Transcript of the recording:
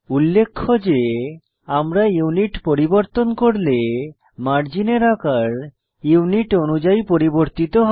উল্লেখ্য যে আমরা ইউনিট পরিবর্তন করলে মার্জিনের আকার ইউনিট অনুযায়ী পরিবর্তিত হয়